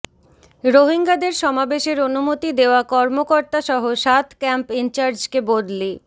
রোহিঙ্গাদের সমাবেশের অনুমতি দেওয়া কর্মকর্তাসহ সাত ক্যাম্প ইনচার্জকে বদলি